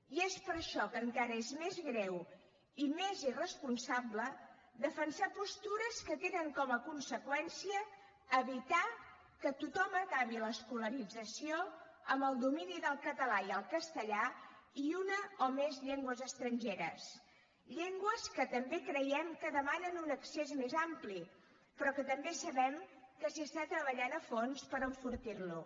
i és per això que encara és més greu i més irresponsable defensar postures que tenen com a conseqüència evitar que tothom acabi l’escolarització amb el domini del català i el castellà i una o més llengües estrangeres llengües que també creiem que demanen un accés més ampli però que també sabem que s’hi està treballant a fons per enfortir lo